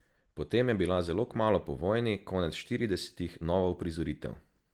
Potem je bila zelo kmalu po vojni, konec štiridesetih nova uprizoritev.